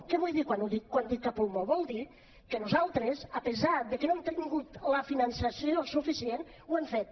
què vull dir quan dic a pulmó vol dir que nosaltres a pesar de que no hem tingut el finançament suficient ho hem fet